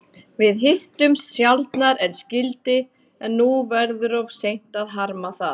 Við hittumst sjaldnar en skyldi, en nú verður of seint að harma það.